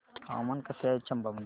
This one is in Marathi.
हवामान कसे आहे चंबा मध्ये